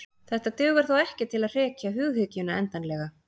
Þetta dugar þó ekki til að hrekja hughyggjuna endanlega.